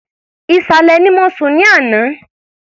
Ìsàlẹ̀ ni mo sùn ní àná.